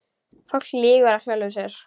Fólk lýgur að sjálfu sér.